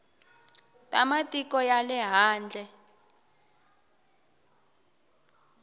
ta matiko ya le handle